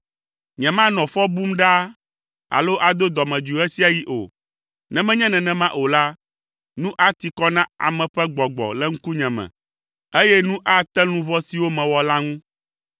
Nyemanɔ fɔ bum ɖaa alo ado dɔmedzoe ɣe sia ɣi o, ne menye nenema o la, nu ati kɔ na ame ƒe gbɔgbɔ le ŋkunye me, eye nu ate luʋɔ siwo mewɔ la ŋu.